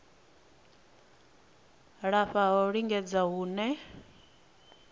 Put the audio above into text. lafha ha u lingedza hune